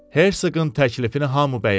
Hersoqun təklifini hamı bəyəndi.